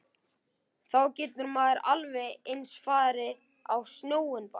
Þá getur maður alveg eins farið á sjóinn bara.